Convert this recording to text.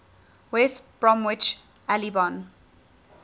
west bromwich albion